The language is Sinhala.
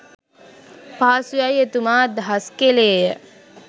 පහසුයයි එතුමා අදහස් කෙළේය.